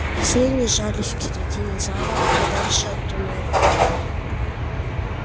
все они жались к середине зала подальше от туннелей